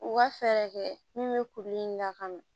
U ka fɛɛrɛ kɛ min bɛ kuru in lakana